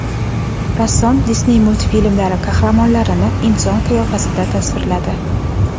Rassom Disney multfilmlari qahramonlarini inson qiyofasida tasvirladi .